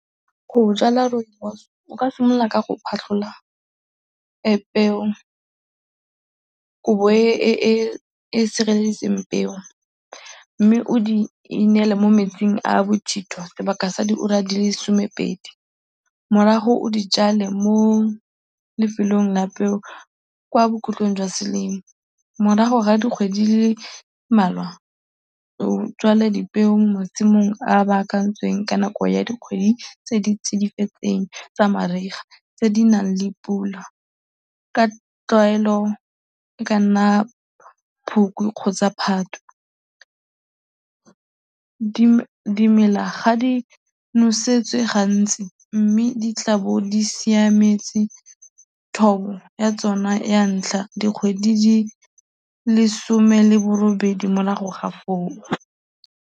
Go jwala rooibos, o ka simolola ka go phatlhola peo, kobo e e sireletseditseng peo mme o di inele mo metsing a a bothitho sebaka sa diura di le somepedi, morago o di jwale mo lefelong la peo kwa bokhutlong jwa selemo. Morago ga dikgwedi di le mmalwa o jwale dipeo mo masimong a a baakantsweng ka nako ya dikgwedi tse di tsidifetseng tsa mariga tse di nang le pula, ka tlwaelo e ka nna Phukwi kgotsa Phatwe. Dimela ga di nosetswe gantsi mme di tla bo di siametse thobo ya tsona ya ntlha dikgwedi di le 'some le borobedi morago ga foo.